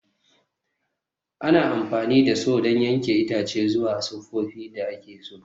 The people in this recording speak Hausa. Ana amfani da Saw don yanke itace zuwa sifofin da ake so.